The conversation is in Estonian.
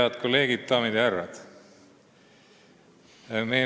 Head kolleegid, daamid ja härrad!